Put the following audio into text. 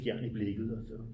Fjern i blikket